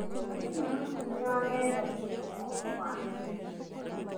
Andũ maratũmĩra nenda gũcaria ũhoro wa naihenya.